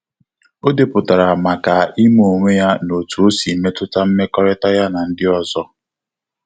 O depụtara maka ịma onwe na otu osi metuta mmekọrịta ya na ndị ọzọ